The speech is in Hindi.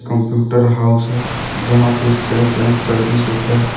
कंप्यूटर हाउस है जहां पे सेल्स एन सर्विस होता--